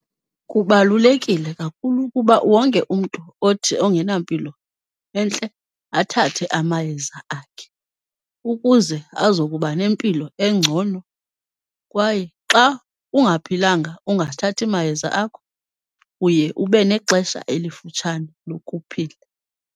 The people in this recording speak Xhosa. Kubalulekile kakhulu ukuba wonke umntu othi ongenampilo entle athathe amayeza akhe. Ukuze azokuba nempilo engcono, kwaye xa ungaphilanga ungathathi mayeza akho uye ube nexesha elifutshane lokuphila.